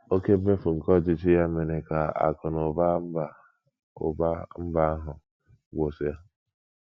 Oké mmefu nke ọchịchị ya mere ka akụ̀ na ụba mba ụba mba ahụ gwụsịa.